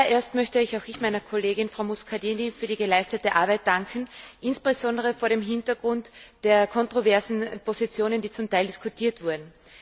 Zuallererst möchte auch ich meiner Kollegin, Frau Muscardini, für die geleistete Arbeit danken, insbesondere vor dem Hintergrund der kontroversen Positionen, die zum Teil diskutiert wurden.